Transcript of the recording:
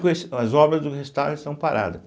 s as obras do restauro estão paradas.